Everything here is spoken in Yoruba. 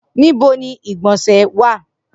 Nibo ni igbonse wa?